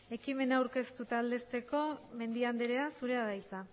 ekimena aurkeztu eta aldezteko mendia anderea zurea da hitza